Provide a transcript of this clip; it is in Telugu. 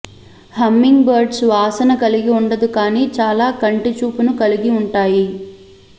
హమ్మింగ్ బర్డ్స్ వాసన కలిగి ఉండదు కానీ చాలా కంటి చూపును కలిగి ఉంటాయి